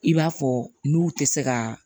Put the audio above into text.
I b'a fɔ n'u tɛ se ka